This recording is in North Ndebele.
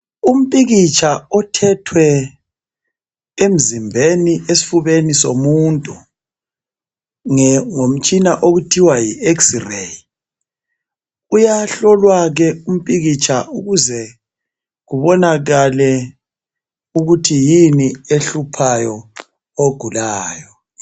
Umpikitsha othethwe emzimbeni esifubeni somuntu ngomtshina okuthiwa Yi x-ray . Uyahlolwa ke umpikitsha ukuze kubonakale ukuthi yini ehluphayo ogulayo .